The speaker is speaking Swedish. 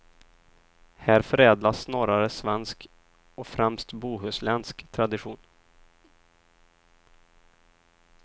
Här förädlas snarare svensk och främst bohuslänsk tradition.